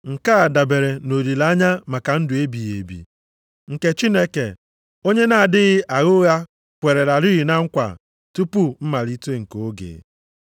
nke a dabere nʼolileanya maka ndụ ebighị ebi, nke Chineke onye na-adịghị agha ụgha kwerelarị na nkwa tupu mmalite nke oge.